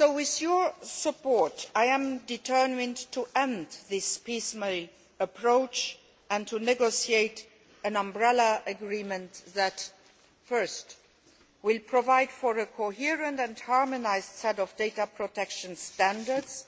With your support, I am determined to end this piecemeal approach and to negotiate an umbrella agreement that provides a coherent and harmonised set of data protection standards